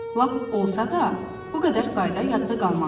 Lap olsa da, bu qədər qayda yadda qalmaz.